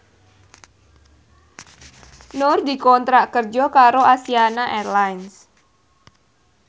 Nur dikontrak kerja karo Asiana Airlines